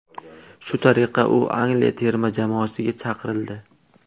Shu tariqa u Angliya terma jamoasiga chaqirildi.